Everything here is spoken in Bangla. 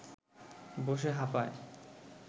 বসে হাঁপায়